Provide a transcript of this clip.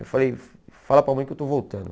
Eu falei, fala para a mãe que eu estou voltando.